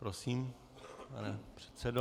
Prosím, pane předsedo.